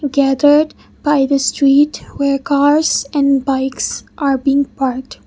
gathered by the street where cars and bikes are being parked.